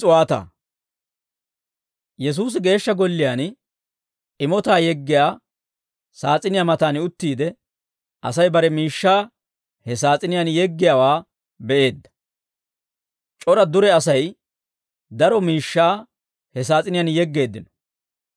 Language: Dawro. Yesuusi Geeshsha Golliyaan imotaa yeggiyaa saas'iniyaa matan uttiide, Asay bare miishshaa he saas'iniyaan yeggiyaawaa be'eedda; c'ora dure Asay daro miishshaa he saas'iniyaan yeggeeddino.